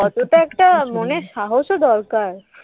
কতটা একটা মনের সাহসও দরকার?